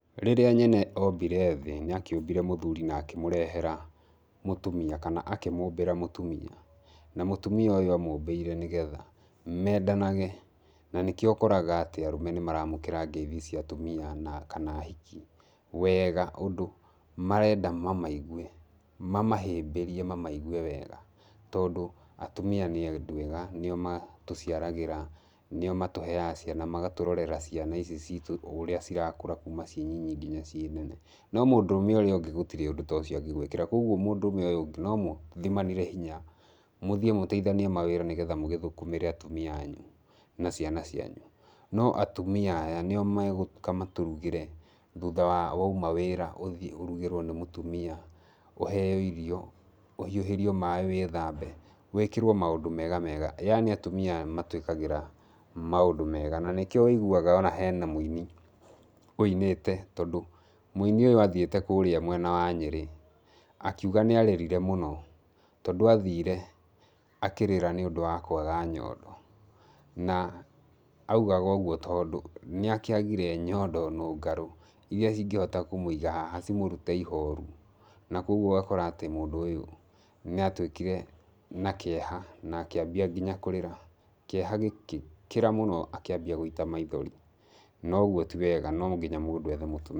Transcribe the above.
Rĩrĩa nyene ombire thĩ, nĩ akĩũmbire mũthuri nĩ akĩmũrehera mũtumia. Kana akĩmũmbĩra mũtumia. Na mũtumia ũyũ amũmbĩire nĩgetha, mendanage. Na nĩkĩo ũkoraga atĩ arũme nĩ maramũkĩra ngeithi cia atumia na kana ahiki, wega, ũndũ marenda mamaigue, mamahĩmbĩrĩe mamaigue wega. Tondũ, atumia nĩ andũ ega, nĩo matũciaragĩra, nĩo matũheaga ciana. Magatũrorera ciana ici ciitũ, ũrĩa cirakũra kuuma ci nyinyi ngina ciĩ nene. No mũndũrũme ũrĩa ũngĩ gũtirĩ ũndũ ta ũcio angĩgwĩkĩra. Kũguo mũndũrũme ũyũ ũngĩ no mũthimanire hinya. Mũthiĩ mũteithanie mawĩra nĩgetha mũgĩthũkũmĩre atumia anyu na ciana cianyu. No atumia aya, nĩo megũũka matũrugĩre thutha wa wauma wĩra, ũthi ũrũgĩrwo nĩ mũtumia, ũheeo irio, ũhiũhĩrio maaĩ wĩthambe. Wĩkĩrwo maũndũ mega mega. Yaani atumia matũĩkagĩra maũndũ mega. Na nĩkĩo wĩiguaga ona hena mũini ũinĩte, tondũ mũini ũyũ athiĩte kũũrĩa mwena wa Nyeri, akĩuga nĩ arĩrire mũno, tondũ athire, akĩrĩra nĩ ũndũ wa kwaga nyondo. Na augaga ũguo tondũ, nĩ akĩagire nyondo nũngarũ, irĩa cingĩhota kũmũiga haha cimũrute ihooru. Na kũguo akora atĩ mũndũ ũyũ nĩ atuĩkire na kĩeha, na akĩambia nginya kũrĩra. Kĩeha gĩgĩkĩra mũno akĩambia gũita maithori. Na ũguo ti wega no nginya mũndũ ethe mũtumia.